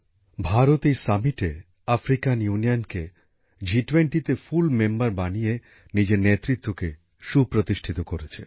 ভারত এই শীর্ষ সম্মেলনে আফ্রিকান ইউনিয়নকে জি২০র পূর্ণ সদস্য বানিয়ে নিজের নেতৃত্বকে সুপ্রতিষ্ঠিত করেছে